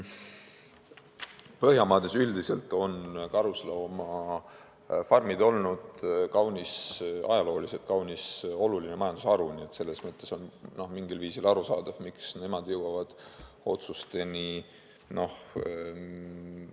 Põhjamaades üldiselt on karusloomafarmid olnud ajalooliselt kaunis oluline majandusharu, nii et selles mõttes on mingil viisil arusaadav, miks nad jõuavad otsusteni raskemalt.